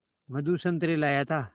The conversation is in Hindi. मधु संतरे लाया था